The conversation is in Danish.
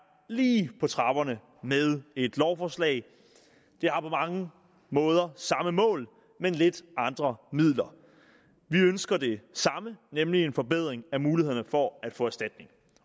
lige på trapperne med et lovforslag det har på mange måder samme mål men lidt andre midler vi ønsker det samme nemlig en forbedring af mulighederne for at få erstatning